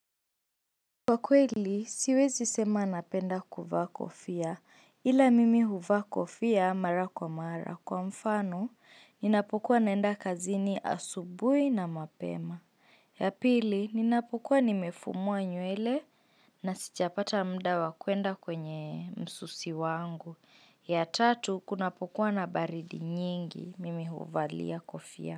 Kwa kweli, siwezi sema napenda kuvaa kofia, ila mimi huvaa kofia mara kwa mara. Kwa mfano, ninapokuwa naenda kazini asubuhi na mapema. Yapili, ninapokuwa nimefumuwa nywele na sijapata muda wa kwenda kwenye msusi wangu. Ya tatu, kunapokuwa na baridi nyingi, mimi huvalia kofia.